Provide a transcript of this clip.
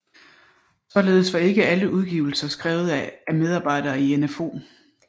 Således var ikke alle udgivelser skrevet af medarbejdere i NfO